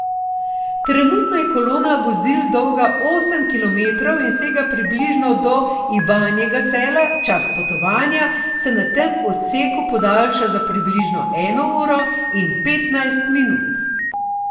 Trenutno je kolona vozil dolga osem kilometrov in sega približno do Ivanjega Sela, čas potovanja se na tem odseku podaljša za približno eno uro in petnajst minut.